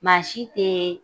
Maa si tee